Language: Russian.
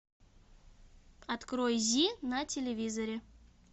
открой зи на телевизоре